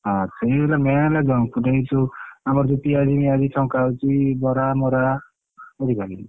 ହଁ ସେଇହେଲା main ହେଲା junk food ଏଇ ଯୋଉ ଆମର ଯୋଉ ପିଆଜି ଫିଆଜି ଛଙ୍କା ହଉଛି ବରା ମରା ବୁଝିପାରିଲୁ।